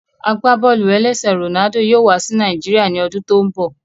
Agbábọ́ọlù-ẹlẹ́sẹ̀ Ronaldo yóò wá sí Nàìjíríà ní ọdún tó n bọ